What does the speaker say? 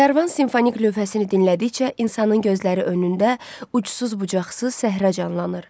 Kərvan simfonik lövhəsini dinlədikcə insanın gözləri önündə ucsuz-bucaqsız səhra canlanır.